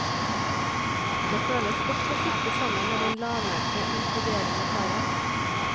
Det føles godt å sitte sammen med den lavmælte inkluderende karen.